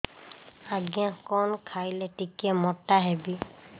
ଆଜ୍ଞା କଣ୍ ଖାଇଲେ ଟିକିଏ ମୋଟା ହେବି